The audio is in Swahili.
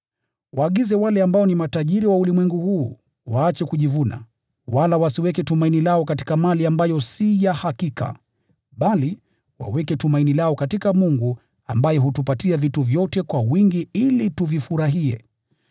Waagize wale ambao ni matajiri wa ulimwengu huu waache kujivuna, wala wasiweke tumaini lao katika mali ambayo si ya hakika, bali waweke tumaini lao katika Mungu ambaye hutupatia vitu vyote kwa wingi ili tuvifurahie.